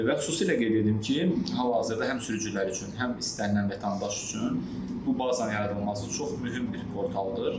Və xüsusilə qeyd edim ki, hal-hazırda həm sürücülər üçün, həm istənilən vətəndaş üçün bu bazanın yaradılması çox mühüm bir portaldır.